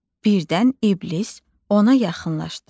Birdən İlbis ona yaxınlaşdı.